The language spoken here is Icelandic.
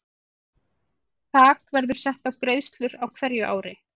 Þak verður sett á greiðslur á hverju ári.